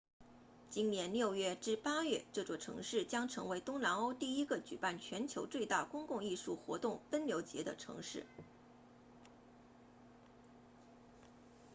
今年6月至8月这座城市将成为东南欧第一个举办全球最大公共艺术活动奔牛节的城市